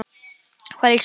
Hvað lýsir mömmu best?